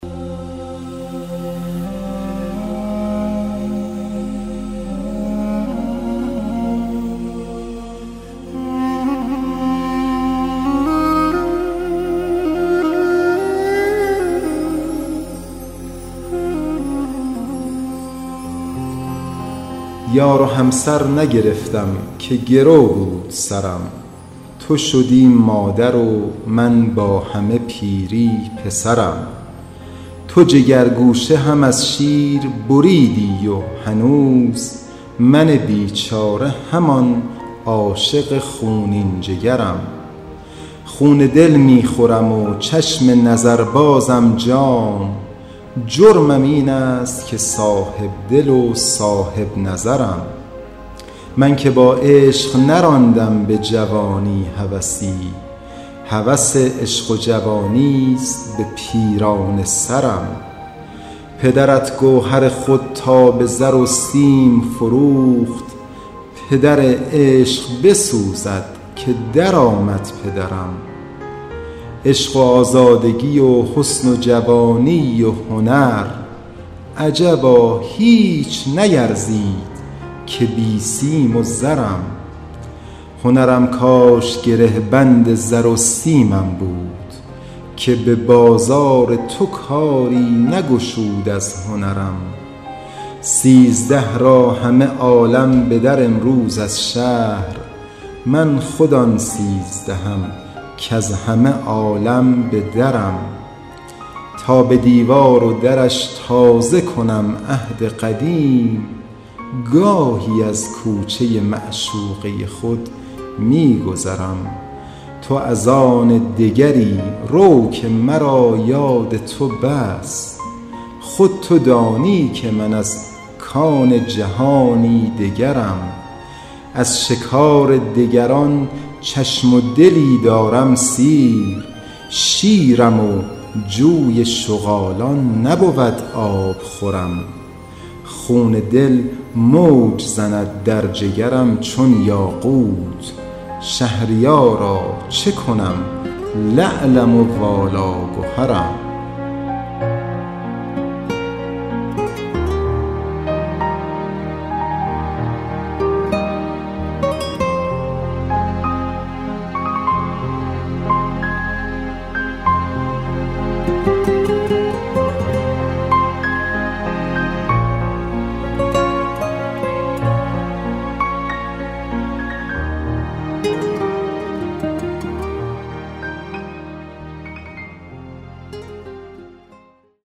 یار و همسر نگرفتم که گرو بود سرم تو شدی مادر و من با همه پیری پسرم تو جگرگوشه هم از شیر بریدی و هنوز من بیچاره همان عاشق خونین جگرم خون دل می خورم و چشم نظر بازم جام جرمم این است که صاحب دل و صاحب نظرم من که با عشق نراندم به جوانی هوسی هوس عشق و جوانیست به پیرانه سرم پدرت گوهر خود را به زر و سیم فروخت پدر عشق بسوزد که در آمد پدرم عشق و آزادگی و حسن و جوانی و هنر عجبا هیچ نیرزید که بی سیم و زرم هنرم کاش گره بند زر و سیمم بود که به بازار تو کاری نگشود از هنرم سیزده را همه عالم به در آیند از شهر من خود آن سیزدهم کز همه عالم به درم تا به دیوار و درش تازه کنم عهد قدیم گاهی از کوچه معشوقه خود می گذرم تو از آن دگری رو که مرا یاد تو بس خود تو دانی که من از کان جهانی دگرم از شکار دگران چشم و دلی دارم سیر شیرم و جوی شغالان نبود آبخورم خون دل موج زند در جگرم چون یاقوت شهریارا چه کنم لعلم و والا گهرم